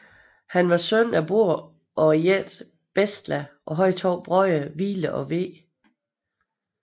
Han var søn af Borr og jætten Bestla og havde to brødre Vile og Ve